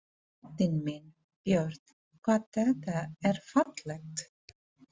Drottinn minn, Björn, hvað þetta er fallegt!